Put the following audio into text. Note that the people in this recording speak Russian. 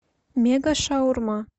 мега шаурма